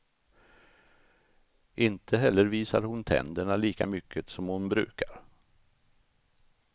Inte heller visar hon tänderna lika mycket som hon brukar.